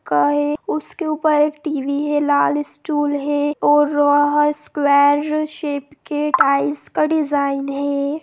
का है उसके ऊपर एक टी_वी है लाल स्टूल है और वहाँ स्क्वायर शेप के टाइल्स के डिजाइन है।